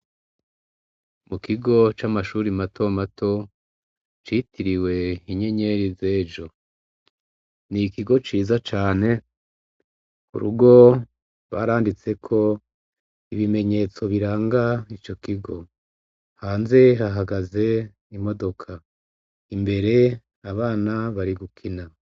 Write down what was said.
Mu kigo c'amashuri matomato citiriwe inyenyeri z'ejo, n'ikigo ciza cane, ku rugo baranditseko ibimenyetso biranga ico kigo, hanze hahagaze imodoka, imbere abana bari gukina.